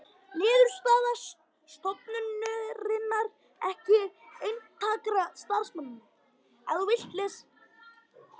Niðurstaða stofnunarinnar ekki einstakra starfsmanna